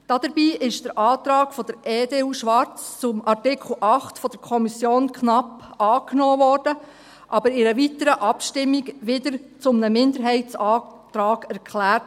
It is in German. Dabei wurde der Antrag EDU/Schwarz zu Artikel 8 von der Kommission knapp angenommen, wurde aber in einer weiteren Abstimmung wieder zu einem Minderheitsantrag erklärt.